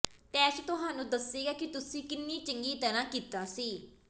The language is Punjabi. ਟੈਸਟ ਤੁਹਾਨੂੰ ਦੱਸੇਗਾ ਕਿ ਤੁਸੀਂ ਕਿੰਨੀ ਚੰਗੀ ਤਰ੍ਹਾਂ ਕੀਤਾ ਸੀ